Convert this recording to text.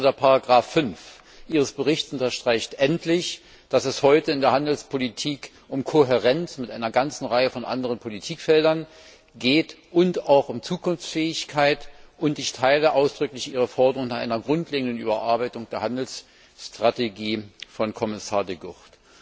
Insbesondere Ziffer 5 Ihres Berichts unterstreicht endlich, dass es heute in der Handelspolitik um Kohärenz mit einer ganzen Reihe von anderen Politikfeldern und auch um Zukunftsfähigkeit geht, und ich teile ausdrücklich Ihre Forderung nach einer grundlegenden Überarbeitung der Handelsstrategie von Kommissar De Gucht.